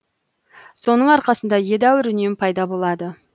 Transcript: соның арқасында едәуір үнем пайда болады